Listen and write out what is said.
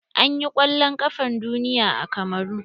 An yi kwallon ƙafan duniya a kamaru.